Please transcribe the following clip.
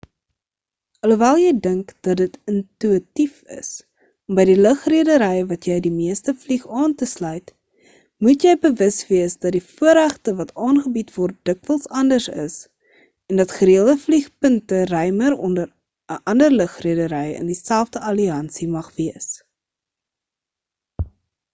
alhoewel jy dink dat dit intuïtief is om by die lugredery wat jy die meeste vlieg aan te sluit moet jy bewus wees dat die voorregte wat aangebied word dikwels anders is en dat gereelde vliegpunte ruimer onder 'n ander lugredery in dieselfde alliansie mag wees